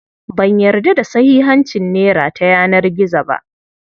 Ban yarda da sahihancin nera ta yanar gizo ba.